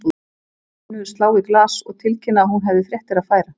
Lenu slá í glas og tilkynna að hún hefði fréttir að færa.